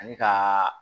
Ani ka